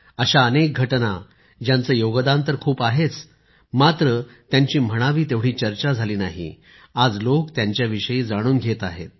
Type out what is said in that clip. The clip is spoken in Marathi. अशा अनेक घटना ज्यांचे योगदान तर खूप आहेच मात्र त्यांची म्हणावी तेवढी चर्चा झाली नाही आज लोक त्यांच्याविषयीही जाणून घेत आहेत